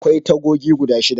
Akwai tagogi guda shida.